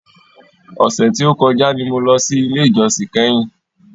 Ọ̀sẹ̀ tí o kọjá ni mo lọ sí ilé ìjósìn kẹ́hìn.